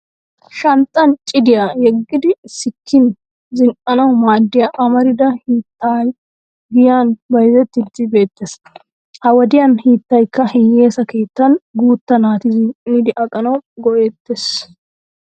Shanxxan cidiya yeggidi sikkin zin'anwu maaddiya amarida hiittay giyaan bayzzettiiddi beettes. Ha wodiyan hiittaykka hiyyesa keettan guutta naati zin'idi aqanawu go'ettes.